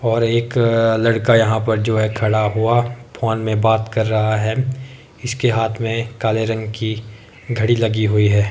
और एक लड़का यहां पर जो है खड़ा हुआ फोन में बात कर रहा है इसके हाथ में काले रंग की घड़ी लगी हुई है।